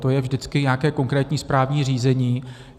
To je vždycky nějaké konkrétní správní řízení.